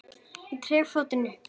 Ég trekkti fóninn upp.